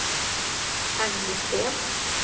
Agne Sten